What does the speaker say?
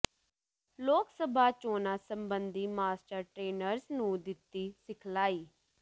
ਲੋਕ ਸਭਾ ਚੋਣਾਂ ਸਬੰਧੀ ਮਾਸਟਰ ਟਰੇਨਰਜ਼ ਨੂੰ ਦਿੱਤੀ ਸਿਖਲਾਈ